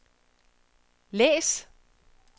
læs